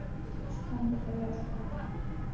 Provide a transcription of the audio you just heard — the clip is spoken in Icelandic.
Þú stendur þig vel, Dónald!